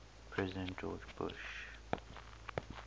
president george bush